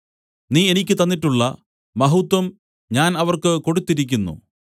നീ എനിക്ക് തന്നിട്ടുള്ള മഹത്വം ഞാൻ അവർക്ക് കൊടുത്തിരിക്കുന്നു